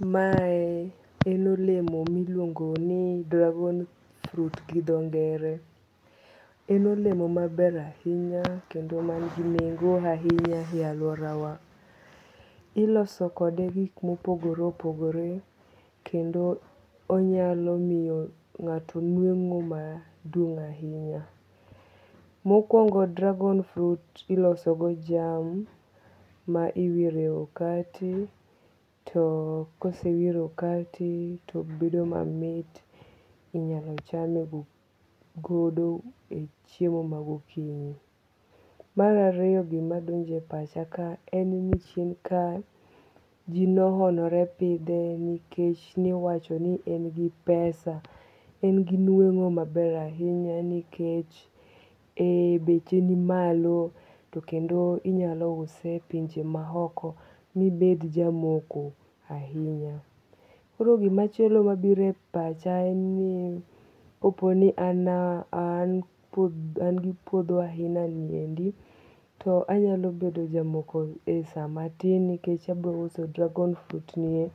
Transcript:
Mae en olemo miluongo ni dragon fruit gi tho ngere, en olemo maber ahinya kendo man gi nengo ahinya e aluorawa, iloso kode gik mopogore opogore kendo onyalo miyo nga'to nwengo maduong' ahinya, mokuongo' dragon fruit ilosogo jam ma iwire e okati to kosewire e okati to bedo mamit inyalo chame godo e chiemo magokinyi, mar ariyo gima donjo e pacha kae en ni, ji nohonore pithe nikech niwacho ni en gi pesa, en gi nwengo' maber ahinya nikech beche nimalo to kendo inyalo use e pinje ma oko mibed jamoko ahinya, koro gimachielo ambiro e pacha en ni, an gi puotho ainaniendi to anyalo bedo jamoko e samatin nikech abiro uso dragon fruit nie